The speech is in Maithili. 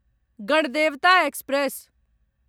गणदेवता एक्सप्रेस